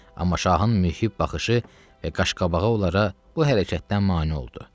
Amma şahın mühib baxışı və qaş-qabağı onlara bu hərəkətdən mane oldu.